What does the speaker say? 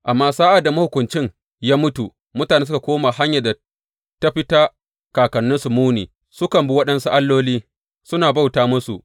Amma sa’ad da mahukuncin ya mutu, mutanen suka koma hanyar da ta fi ta kakanninsu muni, sukan bi waɗansu alloli suna bauta musu.